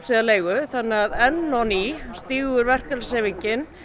eða leigu þannig að enn á ný stígur verkalýðshreyfingin